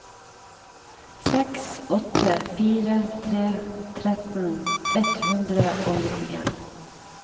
seks åtte fire tre tretten ett hundre og nittien